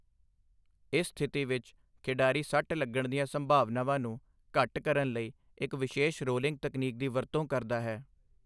ਇਸ ਸਥਿਤੀ ਵਿੱਚ ਖਿਡਾਰੀ ਸੱਟ ਲੱਗਣ ਦੀਆਂ ਸੰਭਾਵਨਾਵਾਂ ਨੂੰ ਘੱਟ ਕਰਨ ਲਈ ਇੱਕ ਵਿਸ਼ੇਸ਼ ਰੋਲਿੰਗ ਤਕਨੀਕ ਦੀ ਵਰਤੋਂ ਕਰਦਾ ਹੈ।